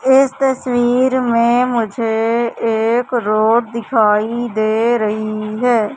इस तस्वीर में मुझे एक रोड दिखाई दे रही है।